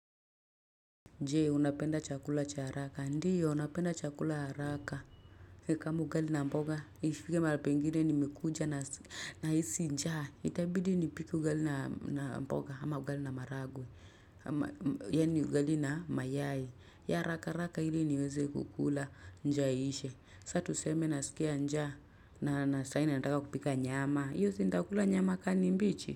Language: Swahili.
Je, unapenda chakula cha haraka. Ndiyo, napenda chakula ya haraka. Kama ugali na mboga, ifike mahali pengine nimekuja na hisi njaa. Itabidi nipike ugali na mboga ama ugali na maharagwe. Yaani ugali na mayai ya haraka haraka ili niweze kukula njaa iishe. Sa tuseme nasikia njaa na sahii ninataka kupika nyama. Hiyo, si nitakula nyama kama ni mbichi.